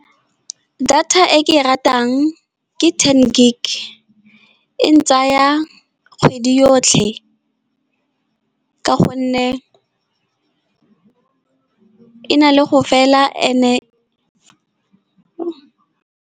Data e ke e ratang ke ten gig, e ntsaya kgwedi yotlhe ka gonne e na le go fela and-e, .